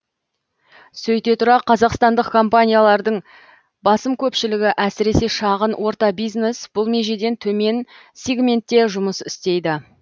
сөйте тұра қазақстандық компаниялардың басым көпшілігі әсіресе шағын орта бизнес бұл межеден төмен сигментте жұмыс істейді